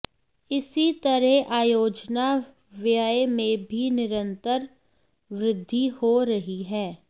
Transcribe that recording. इसी तरह आयोजना व्यय में भी निरंतर वृद्धि हो रही है